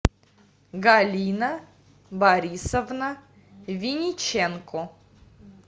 галина борисовна винниченко